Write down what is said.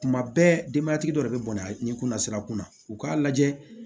Kuma bɛɛ denbaya tigi dɔ de bɛ bɔnɛ nin kunnasira kunna u k'a lajɛ